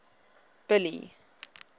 billy